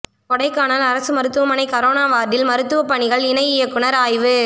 கொடைக்கானல் அரசு மருத்துவமனை கரோனா வாா்டில் மருத்துவப் பணிகள் இணை இயக்குநா் ஆய்வு